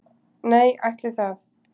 Nei, ætli það